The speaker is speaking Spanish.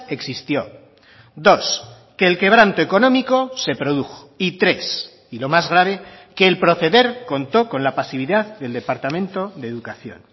existió dos que el quebranto económico se produjo y tres y lo más grave que el proceder contó con la pasividad del departamento de educación